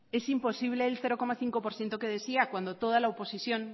es imposible el cero coma cinco por ciento que decía cuando toda la oposición